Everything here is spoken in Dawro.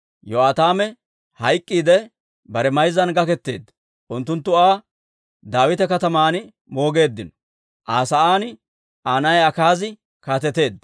Yo'aataame hayk'k'iidde, bare mayzzan gaketeedda. Unttunttu Aa Daawita Kataman moogeeddino. Aa sa'aan Aa na'ay Akaazi kaateteedda.